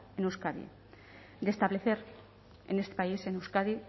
en euskadi de establecer en este país en euskadi